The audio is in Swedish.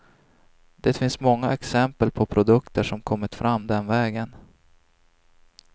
Det finns många exempel på produkter som kommit fram den vägen.